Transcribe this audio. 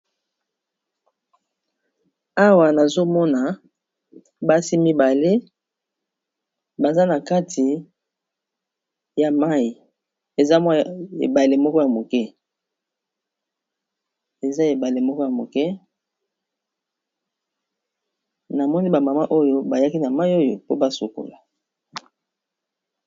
Awa nazomona basi mibale baza na kati ya mai eza ebale moko ya moke na moni ba mama oyo bayaki na mai oyo po basokola.